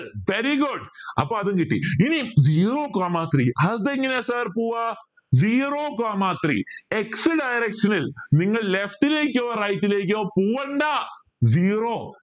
very good അപ്പോ അതും കിട്ടി ഇനി zero coma three അതെങ്ങനെയാ sir പോവാ zero coma three x direction ൽ നിങ്ങൾ left ലേക്കോ right ലേക്കോ പോവണ്ട zero